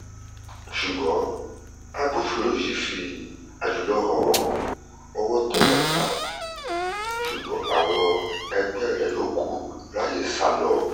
ṣùgbọ́n agbófinró yìí fi àjùlọ hàn wọ́n ọwọ́ tẹ́ watab ṣùgbọ́n àwọn ẹgbẹ́ rẹ̀ yòókù ráàyè sá lọ